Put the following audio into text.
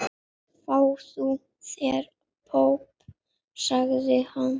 Fáðu þér popp, sagði hann.